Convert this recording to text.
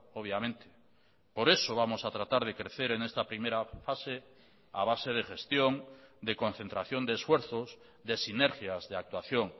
obviamente por eso vamos a tratar de crecer en esta primera fase a base de gestión de concentración de esfuerzos de sinergias de actuación